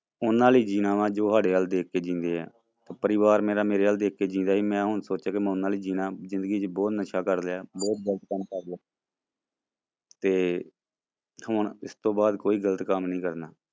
ਉਹਨਾਂ ਲਈ ਜਿਉਣਾ ਵਾਂ ਜੋ ਸਾਡੇ ਵੱਲ ਦੇਖ ਕੇ ਜਿਉਂਦੇ ਹੈ, ਪਰਿਵਾਰ ਮੇਰਾ ਮੇਰੇ ਵੱਲ ਦੇਖ ਕੇ ਹੀ ਜਿਉਂਦਾ ਸੀ, ਮੈਂ ਹੁਣ ਸੋਚਿਆ ਕਿ ਮੈਂ ਉਹਨਾਂ ਲਈ ਜਿਉਣਾ, ਜ਼ਿੰਦਗੀ ਚ ਬਹੁਤ ਨਸ਼ਾ ਕਰ ਲਿਆ, ਬਹੁਤ ਗ਼ਲਤ ਕੰਮ ਕਰ ਲਏ ਤੇ ਹੁਣ ਇਸ ਤੋਂ ਬਾਅਦ ਕੋਈ ਗ਼ਲਤ ਕੰਮ ਨੀ ਕਰਨਾ।